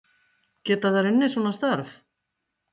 Kristján Már Unnarsson: Geta þær unnið svona störf?